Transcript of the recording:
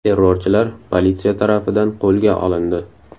Terrorchilar politsiya tarafidan qo‘lga olindi.